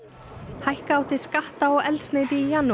hækka átti skatta á eldsneyti í janúar